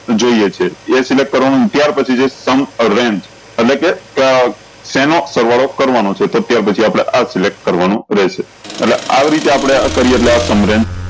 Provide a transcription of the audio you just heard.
જોયીયે છે એ select કરવાનું ત્યાર પછી જે એટલે કે શેનો સરવાળો કરવાનો છે તો ત્યાં પછી આપળે આ select કરવાનું રેહશે એટલે આ રીતે આપળે કરીએ એટલે આ